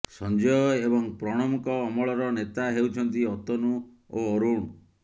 ସଞ୍ଜୟ ଏବଂ ପ୍ରଣବଙ୍କ ଅମଳର ନେତା ହେଉଛନ୍ତି ଅତନୁ ଓ ଅରୁଣ